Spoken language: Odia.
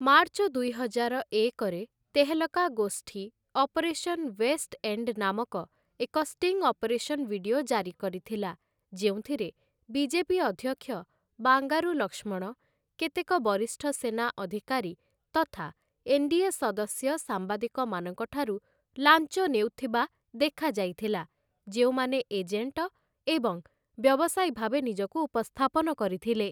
ମାର୍ଚ୍ଚ ଦୁଇହଜାର ଏକରେ, ତେହେଲକା ଗୋଷ୍ଠୀ 'ଅପରେସନ ୱେଷ୍ଟ ଏଣ୍ଡ୍‌' ନାମକ ଏକ ଷ୍ଟିଂ ଅପରେସନ ଭିଡିଓ ଜାରି କରିଥିଲା, ଯେଉଁଥିରେ ବିଜେପି ଅଧ୍ୟକ୍ଷ ବାଙ୍ଗାରୁ ଲକ୍ଷ୍ମଣ, କେତେକ ବରିଷ୍ଠ ସେନା ଅଧିକାରୀ ତଥା ଏନ୍‌.ଡି.ଏ. ସଦସ୍ୟ ସାମ୍ବାଦିକମାନଙ୍କଠାରୁ ଲାଞ୍ଚ ନେଉଥିବା ଦେଖାଯାଇଥିଲା, ଯେଉଁମାନେ ଏଜେଣ୍ଟ ଏବଂ ବ୍ୟବସାୟୀ ଭାବେ ନିଜକୁ ଉପସ୍ଥାପନ କରିଥିଲେ ।